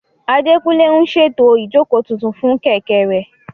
Adékúnlé ń ṣètò ìjókòó tuntun fún Kẹ̀kẹ́ rẹ̀